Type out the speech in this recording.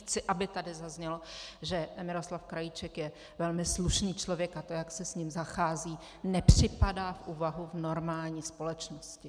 Chci, aby tady zaznělo, že Miroslav Krajíček je velmi slušný člověk a to, jak se s ním zachází, nepřipadá v úvahu v normální společnosti.